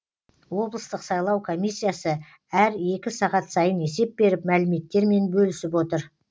облыстық сайлау комиссиясы әр екі сағат сайын есеп беріп мәліметтермен бөлісіп отыр